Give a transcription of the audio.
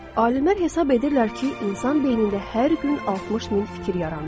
Alimlər hesab edirlər ki, insan beynində hər gün 60 min fikir yaranır.